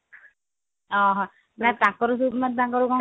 ଓଃହୋ ତାଙ୍କର ଯୋଉଦିନ ତାଙ୍କର